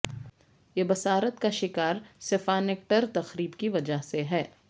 یہ بصارت کا شکار سفانکٹر تقریب کی وجہ سے ہے